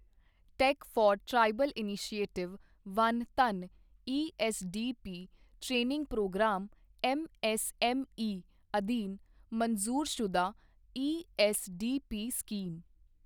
tech for tribals initiative Van Dhan ESDP training programme MSME ਅਧੀਨ ਮਨਜ਼ੂਰਸ਼ੁਦਾ ESDP scheme